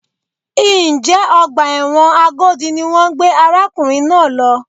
Njẹ́ ọgbà ẹ̀wọ̀n Agodi ni wọ́n gbé arákùnrin náà lọ?